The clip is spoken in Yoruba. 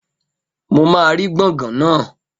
Mo máa rí gbọ̀ngàn naa